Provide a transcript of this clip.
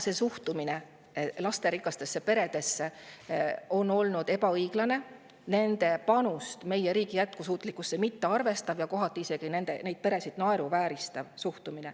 Suhtumine lasterikastesse peredesse on olnud ebaõiglane, nende panust meie riigi jätkusuutlikkusse mittearvestav ja kohati neid peresid isegi naeruvääristav.